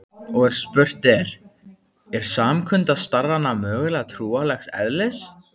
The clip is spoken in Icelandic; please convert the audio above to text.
Og spurt er: er samkunda starrana mögulega trúarlegs eðlis?